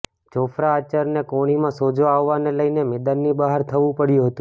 Jofra આર્ચરને કોણીમાં સોજો આવવાને લઈને મેદાનની બહાર થવુ પડ્યુ હતુ